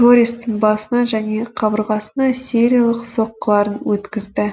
торрестың басына және қабырғасына сериялық соққыларын өткізді